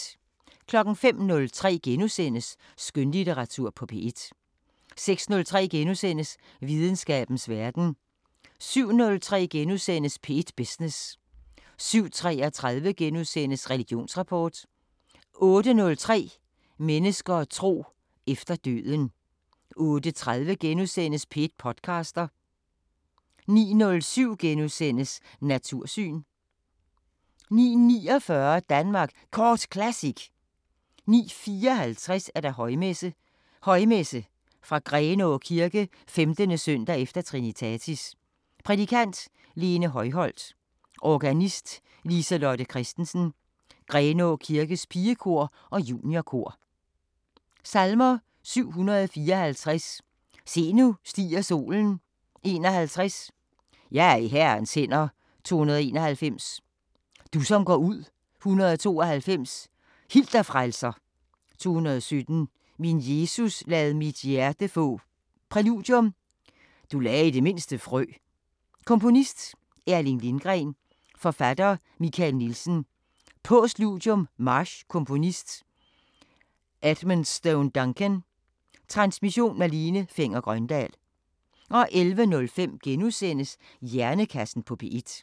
05:03: Skønlitteratur på P1 * 06:03: Videnskabens Verden * 07:03: P1 Business * 07:33: Religionsrapport * 08:03: Mennesker og tro: Efter døden 08:30: P1 podcaster * 09:07: Natursyn * 09:49: Danmark Kort Classic 09:54: Højmesse - Højmesse fra Grenaa Kirke 15. s. e. Trinitatis Prædikant: Lene Højholt. Organist: Lise-Lotte Kristensen. Grenaa kirkes pigekor og juniorkor. Salmer: 754: Se nu stiger solen 51: Jeg er i Herrens hænder 291: Du som går ud 192: Hil dig Frelser 217: Min Jesus lad mit hjerte få Præludium: Du lagde i det mindste frø. Komponist: Erling Lindgren. Forfatter: Michael Nielsen. Postludium: March. Komponist: Edmondstoune Duncan. Transmission: Malene Fenger-Grøndahl. 11:05: Hjernekassen på P1 *